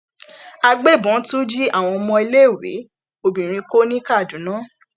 àgbẹbọn tún jí àwọn ọmọléèwé obìnrin kó ní kaduna